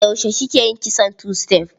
Yaushe kika yi kitson tu-sitef?